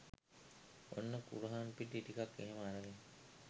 ඔන්න කුරහන් පිටි ටිකක් එහෙම අරගෙන